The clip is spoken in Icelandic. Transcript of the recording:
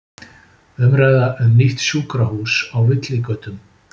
Umræða um nýtt sjúkrahús á villigötum